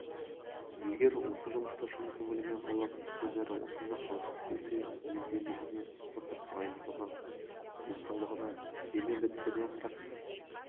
егер осы жұмысты шын көңілімен қалап одан әрі осында қалғысы келсе мінездемесіне спорттық дайындығына денсаулығына дене бітіміне қарап